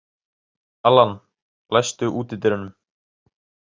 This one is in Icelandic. Allan, læstu útidyrunum.